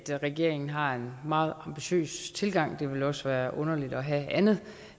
regeringen har en meget ambitiøs tilgang det ville også være underligt at have andet